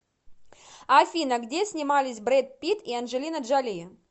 афина где снимались бред питт и анджелина джоли